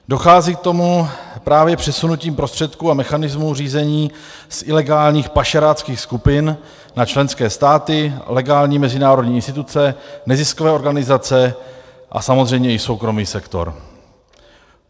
Dochází k tomu právě přesunutím prostředků a mechanismů řízení z ilegálních pašeráckých skupin na členské státy, legální mezinárodní instituce, neziskové organizace a samozřejmě i soukromý sektor.